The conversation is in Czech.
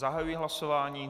Zahajuji hlasování.